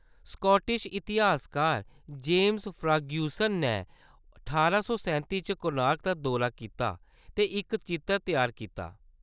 Scottish इतिहासकार James Fergusson नै ठारां सौ सैंत्ती च कोणार्क दा दौरा कीता ते इक चित्तर त्यार कीता।